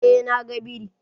Eh na ga biri.